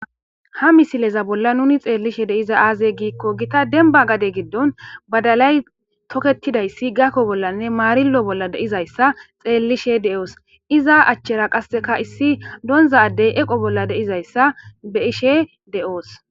Ha misileza bolla nuni xeellishe de'izay aaze giikko gita denba gade giddon badalay tokettidayssi gakko bollanne maarillo bolla deizayssa xeellishe de'oos iza achchera qasseka issi doonza addey eqo bolla deizayssa be'ishshe de'oos